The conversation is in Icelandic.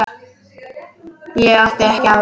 Ég átti ekki aðra.